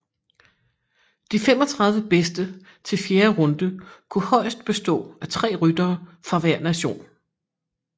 De 35 bedste til fjerde runde kunne højest bestå af tre ryttere fra hver nation